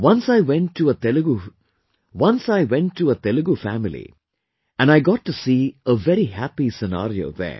Once I went to a Telugu family and I got to see a very happy scenario there